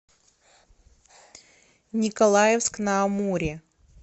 николаевск на амуре